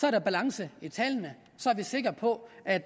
er der balance i tallene så er vi sikre på at